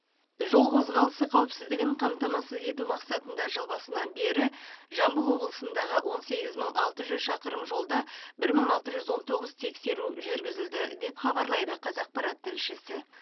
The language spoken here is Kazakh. жол қозғалысы қауіпсіздігін қамтамасыз ету мақсатында жыл басынан бері жамбыл облысындағы он сегіз мың алты жүз шақырым жолда бір мың алты жүз он тоғыз тексеру жүргізілді деп хабарлайды қазақпарат тілшісі